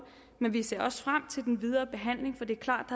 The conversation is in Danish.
men vi ser også frem til den videre behandling for det er klart